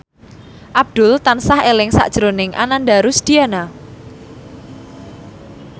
Abdul tansah eling sakjroning Ananda Rusdiana